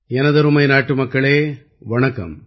எனதருமை நாட்டுமக்களே வணக்கம்